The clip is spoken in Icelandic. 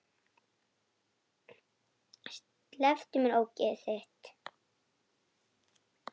Slepptu mér, ógeðið þitt!